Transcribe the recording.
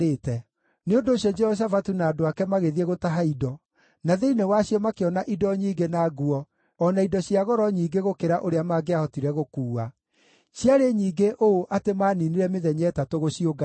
Nĩ ũndũ ũcio Jehoshafatu na andũ ake magĩthiĩ gũtaha indo, na thĩinĩ wacio makĩona indo nyingĩ na nguo o na indo cia goro nyingĩ gũkĩra ũrĩa mangĩahotire gũkuua. Ciarĩ nyingĩ ũũ atĩ maaniinire mĩthenya ĩtatũ gũciũngania.